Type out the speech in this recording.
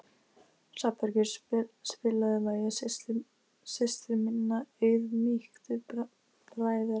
Hrafnbergur, spilaðu lagið „Systir minna auðmýktu bræðra“.